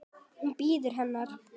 Hann bíður hennar.